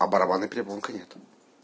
а барабанная перепонка нет